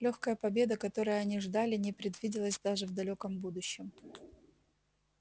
лёгкая победа которой они ждали не предвиделась даже в далёком будущем